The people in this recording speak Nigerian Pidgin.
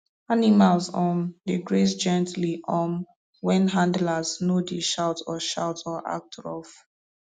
animals um dey graze gently um when handlers no dey shout or shout or act rough